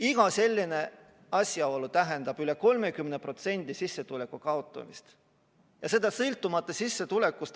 Iga selline asjaolu tähendab üle 30% sissetuleku kaotamist ja seda sõltumata sissetulekust.